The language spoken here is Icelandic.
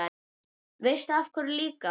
Veistu af hverju líka?